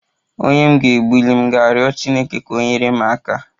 Onye m ga-egbuli m ga-riọ chineke ka ọ nyere m aka?